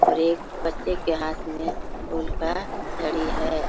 और एक बच्चे के हाथ मे उल्टा घड़ी है।